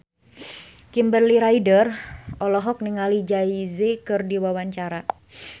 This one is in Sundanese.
Kimberly Ryder olohok ningali Jay Z keur diwawancara